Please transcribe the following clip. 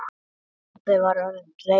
Kobbi var orðinn reiður.